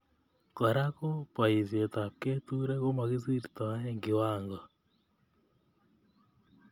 Kora ko boisietab keturek komokisirtoe kiwango